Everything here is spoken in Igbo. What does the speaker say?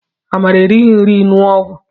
Amara erighi nri ñụọ ọgwụ